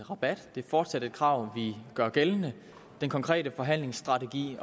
i rabat det er fortsat et krav vi gør gældende den konkrete forhandlingsstrategi